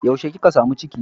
Yaushe kika samu ciki?